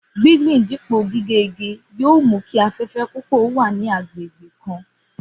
Gbígbin dípò gígé igi yóò ran mú kí afé̩fé̩ púpò̩ ó wà ní agbègbè kan